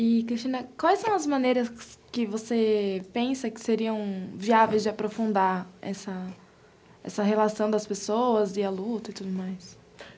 E, Cristina, quais são as maneiras que você pensa que seriam viáveis de aprofundar essa relação das pessoas e a luta e tudo mais?